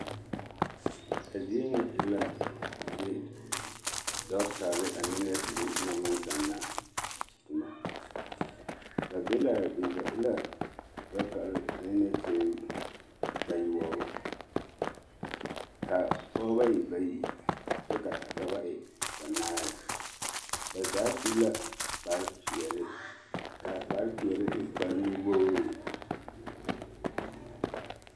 A zie ŋa e la zie dɔɔtare ane nɛɛsere naŋ maŋ zanna tomɔ, ba be l'a be ba e la dɔɔtare ane nɛɛsere bayoɔbo, ka pɔgebɔ e bayi kyɛ ka dɔbɔ e banaare, ba zaa su la kpare peɛle k'a kpare peɛle e kpare nu-wogiri.